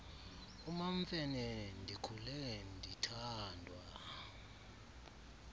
umamfene ndikhule ndithandwa